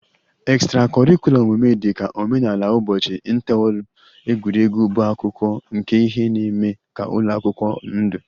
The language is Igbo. Extra-curricular omume dị ka omenala ụbọchị, inter ụlọ egwuregwu bụ akụkụ nke ihe na-eme ka ụlọ akwụkwọ ndụ